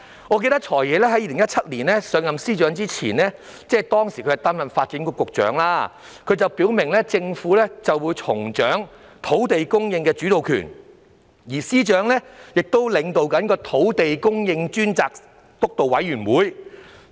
我記得，"財爺"在2017年上任司長一職前，即擔任發展局局長時，曾表明政府會重掌土地供應的主導權，而司長亦正領導土地供應督導委員會。